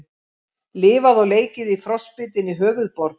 Lifað og leikið í frostbitinni höfuðborg